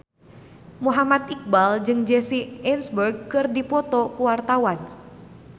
Muhammad Iqbal jeung Jesse Eisenberg keur dipoto ku wartawan